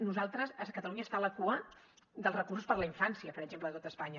nosaltres catalunya està a la cua dels recursos per a la infància per exemple de tot espanya